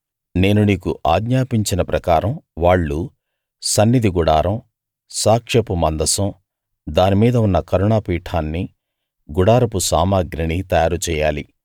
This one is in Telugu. నేను నీకు ఆజ్ఞాపించిన ప్రకారం వాళ్ళు సన్నిధి గుడారం సాక్ష్యపు మందసం దాని మీద ఉన్న కరుణాపీఠాన్ని గుడారపు సామగ్రిని తయారు చెయ్యాలి